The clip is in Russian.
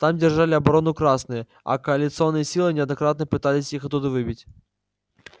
там держали оборону красные а коалиционные силы неоднократно пытались их оттуда выбить